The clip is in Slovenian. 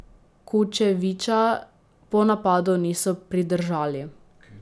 Kučevića po napadu niso pridržali.